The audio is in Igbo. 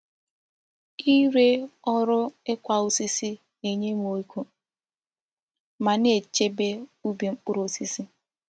Ịre ọrụ ịkwa osisi na-enye m ego ma na-echebe ubi mkpụrụ osisi.